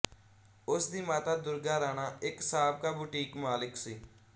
ਉਸਦੀ ਮਾਤਾ ਦੁਰਗਾ ਰਾਣਾ ਇੱਕ ਸਾਬਕਾ ਬੁਟੀਕ ਮਾਲਕ ਸੀ